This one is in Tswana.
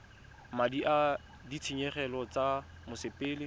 madi a ditshenyegelo tsa mosepele